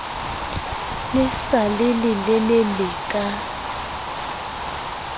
le sa le lelelele ka